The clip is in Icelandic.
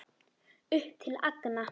Upp til agna.